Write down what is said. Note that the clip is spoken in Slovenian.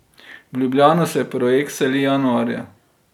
V Ljubljano se projekt seli januarja.